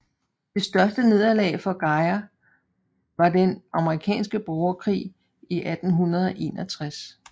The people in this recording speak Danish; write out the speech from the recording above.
Det største nederlag for Geyer var den amerikanske borgerkrig i 1861